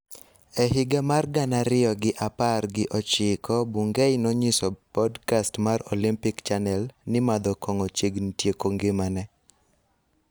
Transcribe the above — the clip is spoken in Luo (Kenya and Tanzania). E higa mar gana ariyo gi apar gi ochiko, Bungei nonyiso podkast mar Olympic Chanel ni madho kong'o chiegni tieko ngimane.